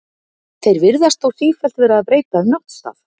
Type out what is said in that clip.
Þeir virðast þó sífellt vera að breyta um náttstað.